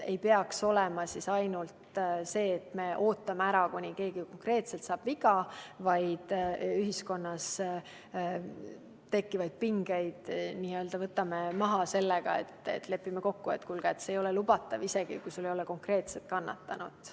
Ei peaks olema nii, et me ootame ära, kuni keegi konkreetselt saab viga, vaid me võtame ühiskonnas tekkivaid pingeid maha sellega, et lepime kokku, et kuulge, see ei ole lubatav, isegi kui ei ole konkreetset kannatanut.